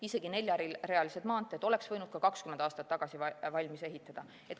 Isegi neljarealised maanteed oleks võinud 20 aastat tagasi valmis ehitada.